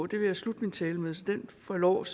det vil jeg slutte min tale med så det får lov at